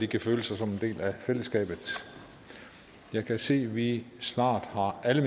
kan føle sig som en del af fællesskabet jeg kan se at vi snart har alle